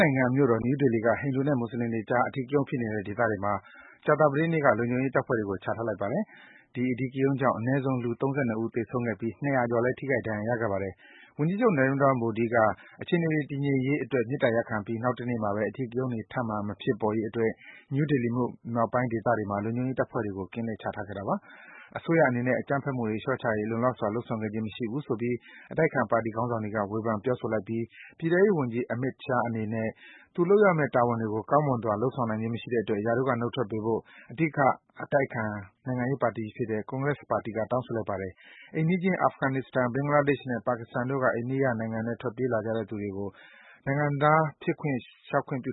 နိုင်ငံမြို့တော် နယူးဒေလီမှာ ဟိန္ဒူနဲ့ မွတ်ဆလင်တွေအကြား အဓိကရုဏ်းဖြစ်နေတဲ့ ဒေသတွေမှာ ကြာသပတေးနေ့က လုံခြုံရေးတပ်ဖွဲ့တွေကို ချထားလိုက်ပါတယ်။ ဒီ အဓိကရုဏ်းကြောင့် အနည်းဆုံး လူ ၃၂ ဦး သေဆုံးခဲ့ပြီး ၂၀၀ ကျော်လည်း ထိခိုက် ဒဏ်ရာရခဲ့ပြီး ဖြစ်ပါတယ်။ ဝန်ကြီးချုပ် Narendra Modi က အခြေအနေတွေ တည်ငြိမ်ရေးအတွက် မေတ္တာရပ်ခံပြီး နောက်တနေ့မှာဘဲ အဓိကရုဏ်းတွေ ထပ်မံ မဖြစ်ပေါ်ရေးအတွက် နယူးဒေလီမြို့မြောက်ပိုင်းဒေသတွေမှာ လုံခြုံရေးတပ်ဖွဲ့တွေ ကင်းလှည့်ခဲ့တာပါ။ အစိုးရအနေနဲ့ အကြမ်းဖက်မှုတွေ လျော့ကျရေး လုံလောက်စွာ လုပ်ဆောင်ခဲ့ခြင်းမရှိဘူးဆိုပြီး အတိုက်အခံပါတီ ခေါင်းဆောင်တွေက ဝေဖန် ပြောဆိုလိုက်ပြီး ပြည်ထဲရေးဝန်ကြီး Amit Shah အနေနဲ့ သူလုပ်ရမယ့် တာဝန်တွေကို ကောင်းမွန်စွာ လုပ်ဆောင်ခြင်းမရှိတဲ့အတွက် ရာထူးက နှုတ်ထွက်ပေးဖို့ အဓိက အတိုက်အခံပါတီကြီးဖြစ်တဲ့ Congress ပါတီက တောင်းဆိုလိုက်ပါတယ်။ အိမ်နီးချင်း အာဖဂန်နစ္စတန်၊ ဘင်္ဂလားဒေ့ရှ်နဲ့ ပါကစ္စတန်တို့က အိန္ဒိယနိုင်ငံထဲ ထွက်ပြေးခိုလုံလာကြတဲ့ ဟိန္ဒူ၊ ခရစ်ယာန်၊ ဗုဒ္ဓဘာသာနဲ့ ဂျိန်းဘာသာဝင်တွေကို နိုင်ငံခြားလျှောက်ခွင့်ပြု